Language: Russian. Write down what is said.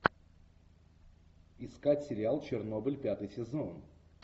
искать сериал чернобыль пятый сезон